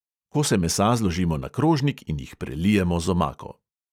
Kose mesa zložimo na krožnik in jih prelijemo z omako.